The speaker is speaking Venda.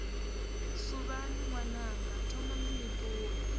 suvhani ṅwananga thomani ni ṱuwe